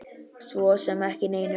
Svo sem ekki neinu.